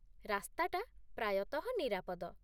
ରାସ୍ତାଟା ପ୍ରାୟତଃ ନିରାପଦ ।